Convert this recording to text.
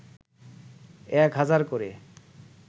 ১ হাজার করে